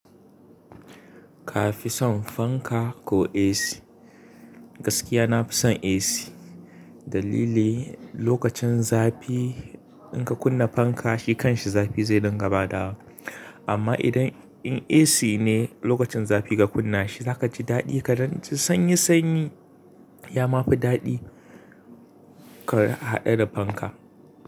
Ka fi son fanka ko AC? Gaskiya na fi son AC. Dalili lokacin zafi in ka kunna fanka shi kanshi zafi zai dinga badawa. Amma idan in AC ne lokacin zafi ka kunna shi za ka ji daɗi kaɗan sanyi, sanyi. Ya ma fi daɗi ka haɗe da fanka.